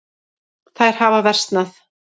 Þær hafa versnað.